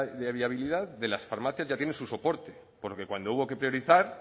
de viabilidad de las farmacias ya tiene su soporte porque cuando hubo que priorizar